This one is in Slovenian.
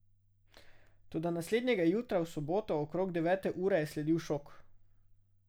Toda naslednjega jutra, v soboto okrog devete ure, je sledil šok.